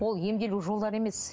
ол емделу жолдары емес